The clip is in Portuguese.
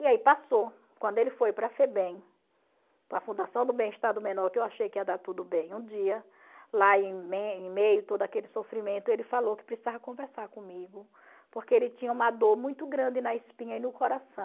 E aí passou, quando ele foi para a Febem, para a Fundação do Bem-Estar do Menor, que eu achei que ia dar tudo bem um dia, lá em me em meio a todo aquele sofrimento, ele falou que precisava conversar comigo, porque ele tinha uma dor muito grande na espinha e no coração.